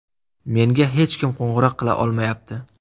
Menga hech kim qo‘ng‘iroq qila olmayapti.